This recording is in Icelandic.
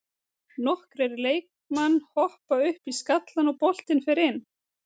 Nokkrir leikmann hoppa upp í skallann og boltinn fer inn.